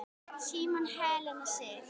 Símon og Helena Sif.